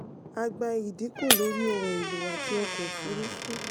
a gba ìdínkù lórí ohun èlò àti ọkọ̀ ofurufu.